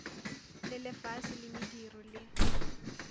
le lefase la mediro le